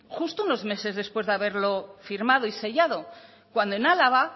justo unos meses después de haberlo firmado y sellado cuando en álava